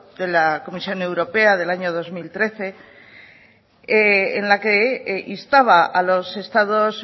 de la comisión europea del año dos mil trece en la que instaba a los estados